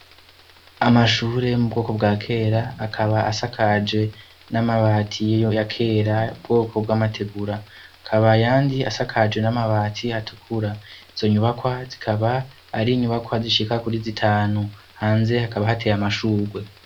Amashure mu bwoko bwa kera akaba asakaje n'amabati yo yakera, ubwoko bw'amategura. Hakaba ayandi asakaje n'amabati atukura. Iizo nyubakwa zikaba ari inyubakwa zishika kuri zitanu. Hanze hakaba hateye amashurwe.